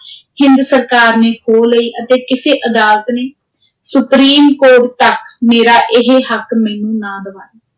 ਹਿੰਦ ਸਰਕਾਰ ਨੇ ਖੋਹ ਲਈ ਅਤੇ ਕਿਸੇ ਅਦਾਲਤ ਨੇ, ਸੁਪ੍ਰੀਮ ਕੋਰਟ ਤਕ, ਮੇਰਾ ਇਹ ਹੱਕ ਮੈਨੂੰ ਨਾ ਦਿਵਾਇਆ।